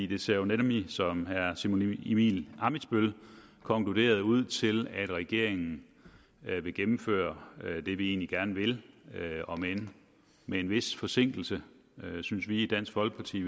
det ser jo nemlig som herre simon emil ammitzbøll konkluderede ud til at regeringen vil gennemføre det vi egentlig gerne vil omend med en vis forsinkelse synes vi i dansk folkeparti